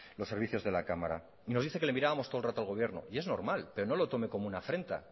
los servicios de la cámara y nos dice que le miramos todo el rato al gobierno y es normal pero no lo tome como una afrenta